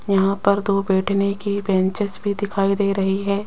यहां पर दो बैठने की बेंचेन्स भी दिखाई दे रही है।